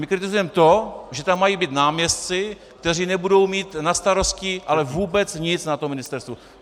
My kritizujeme to, že tam mají být náměstci, kteří nebudou mít na starosti ale vůbec nic na tom ministerstvu.